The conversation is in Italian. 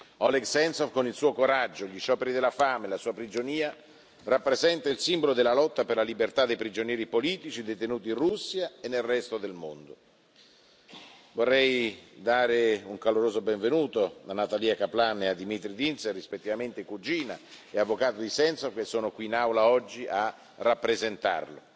Oleg Sentsov, con il suo coraggio, gli scioperi della fame e la sua prigionia, rappresenta il simbolo della lotta per la libertà dei prigionieri politici detenuti in Russia e nel resto del mondo. Vorrei dare un caloroso benvenuto a Natalya Kaplan e a Dmitry Dinze, rispettivamente cugina e avvocato di Sentsov, che sono qui in Aula oggi a rappresentarlo.